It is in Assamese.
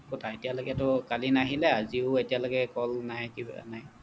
ক'তা এতিয়ালৈকে টো কালি নাহিলে আজিও এতিয়ালৈকে call নাই কিবা নাই